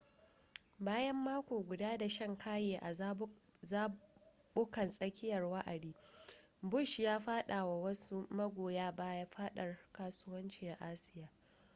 bayan mako guda da shan kaye a zabukan tsakiyar wa'adi bush ya fada wa wasu magoya baya fadadar kasuwanci a asiya